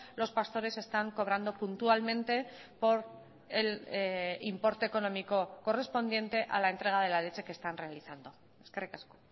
los pastores están cobrando puntualmente por el importe económico correspondiente a la entrega de la leche que están realizando eskerrik asko